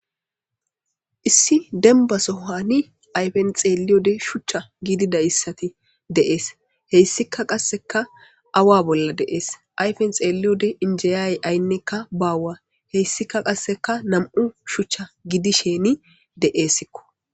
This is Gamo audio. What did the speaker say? issi denbasohani ayfen xeeliyode shuchcha giidida issati deees heyssika qasseka awa bolla deees ayfen xeelliyode injiyaye aynnekka baawa heyssika qasseka nam7u shuchcha gidisheni de7eesikko